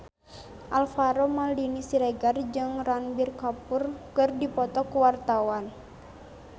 Alvaro Maldini Siregar jeung Ranbir Kapoor keur dipoto ku wartawan